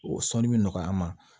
O sɔnni bɛ nɔgɔya n ma